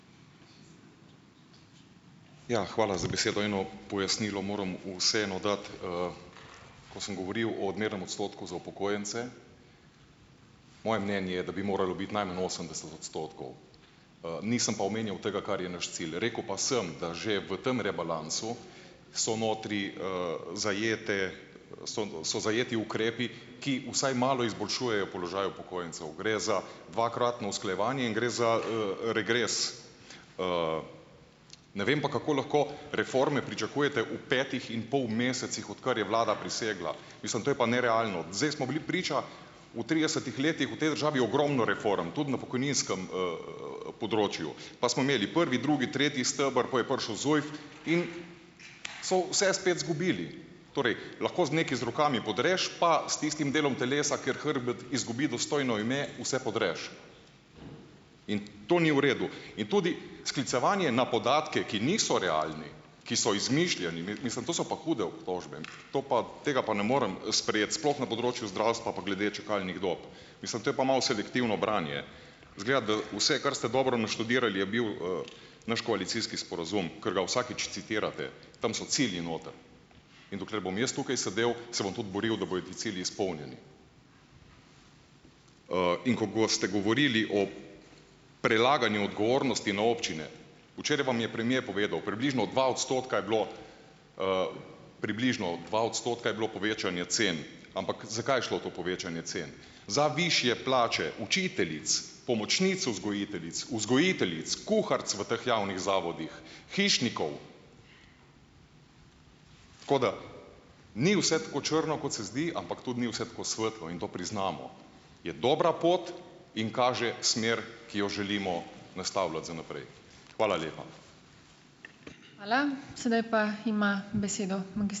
Ja, hvala za besedo. Eno pojasnilo moram vseeno dati, ko sem govoril o odmernem odstotku za upokojence. Moje mnenje je, da bi moralo biti najmanj osemdeset odstotkov. nisem pa omenjal tega, kar je naš cilj. Rekel pa sem, da že v tam rebalansu so notri, zajete, so zajeti ukrepi, ki vsaj malo izboljšujejo položaj upokojencev. Gre za dvakratno usklajevanje in gre za, regres. ne vem pa, kako lahko reforme pričakujete v petih in pol mesecih, odkar je vlada prisegla. Mislim, to je pa nerealno. Zdaj smo bili priča v tridesetih letih v tej državi ogromno reform, tudi na pokojninskem, področju. Pa smo imeli prvi, drugi, tretji steber, pa je prišel ZUJF in so vse spet izgubili. Torej, lahko nekaj z rokami podreš pa s tistim delom telesa, ker hrbet izgubi dostojno ime, vse podreš. In to ni v redu. In tudi sklicevanje na podatke, ki niso realni, ki so izmišljeni, mislim, to so pa hude obtožbe. To pa, tega pa ne morem, sprejeti, sploh na področju zdravstva pa glede čakalnih dob. Mislim, to je pa malo selektivno branje. Izgleda, da vse, kar ste dobro naštudirali, je bil, naš koalicijski sporazum, ker ga vsakič citirate. Tam so cilji noter. In dokler bom jaz tukaj sedel, se bom tudi boril, da bojo ti cilji izpolnjeni. in ko goste govorili o prelaganju odgovornosti na občine. Včeraj vam je premier povedal, približno dva odstotka je bilo, približno dva odstotka je bilo povečanje cen. Ampak, zakaj je šlo to povečanje cen? Za višje plače učiteljic, pomočnic vzgojiteljic, vzgojiteljic, kuharic v teh javnih zavodih, hišnikov. Tako da, ni vse tako črno, kot se zdi, ampak tudi ni vse tako svetlo, priznamo. Je dobra pot in kaže smer, ki jo želimo nastavljati za naprej. Hvala lepa.